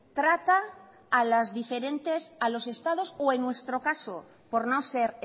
trata a los diferentes estados o en nuestro caso por no ser